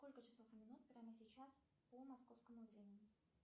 сколько часов и минут прямо сейчас по московскому времени